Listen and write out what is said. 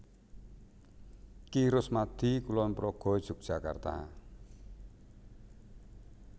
Ki Rusmadi Kulonprogo Yogyakarta